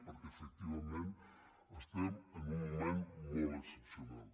perquè efectivament estem en un moment molt excepcional